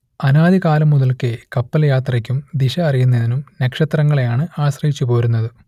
അനാദി കാലം മുതൽക്കേ കപ്പൽ യാത്രയ്ക്കും ദിശ അറിയുന്നതിനും നക്ഷത്രങ്ങളെയാണ് ആശ്രയിച്ചുപോരുന്നത്